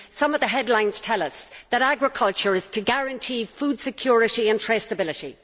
Some of the headlines tell us that agriculture is to guarantee food security and traceability.